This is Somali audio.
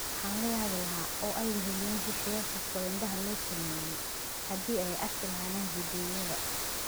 Waxaan la yaabi lahaa, oo ay weheliyaan shisheeye kasta oo indhaha la sameeyay, haddii ay arki lahaayeen fiidiyowyada.